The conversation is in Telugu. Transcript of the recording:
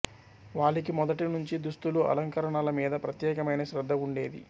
వాలికి మొదటి నుంచి దుస్తులు అలంకరణల మీద ప్రత్యేకమైన శ్రద్ధ ఉండేది